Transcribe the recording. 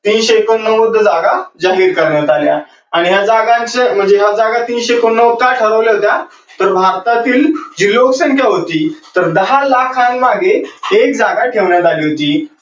तीनशे एकोणनव्वद जागा जाहीर करण्यात आल्या. आणि ह्या जागांच म्हणजे ह्या जागा तीनशे एकोणनव्वद का ठरवल्या होत्या? तर भारतातील जी लोकसंख्या होती तर दहा लाखांमागे एक जागा ठेवण्यात आली होती.